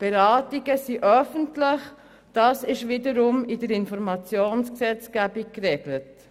Beratungen sind öffentlich, dies wiederum ist in der Informationsgesetzgebung geregelt.